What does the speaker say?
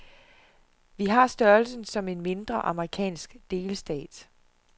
Vi har størrelsen som en mindre, amerikansk delstat.